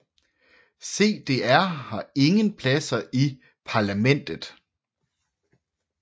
CDR har ingen pladser i parlamentet